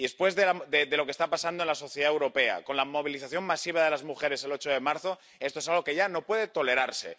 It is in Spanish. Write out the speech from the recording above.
Y después de lo que está pasando en la sociedad europea, con la movilización masiva de las mujeres el 8 de marzo, esto es algo que ya no puede tolerarse.